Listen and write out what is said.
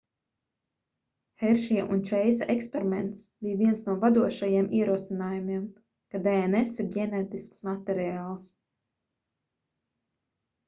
heršija un čeisa eksperiments bija viens no vadošajiem ierosinājumiem ka dns ir ģenētisks materiāls